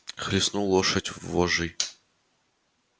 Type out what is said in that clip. хлестнул лошадь вожжей